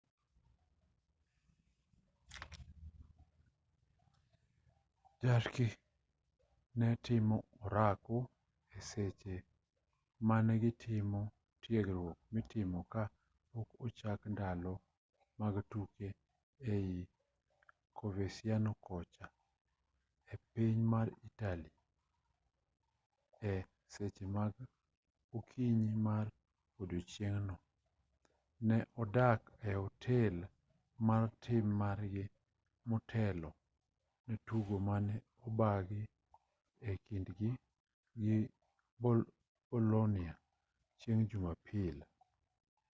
jarque ne timo orako e seche mane gitimo tiegruok mitimo ka pok ochak ndalo mag tuke ei coverciano kocha e piny mar italy e seche mag okinyi ma odiechieng'no ne odak e otel mar tim margi motelo ne tugo mane obagi e kindgi gi bolonia chieng' jumapil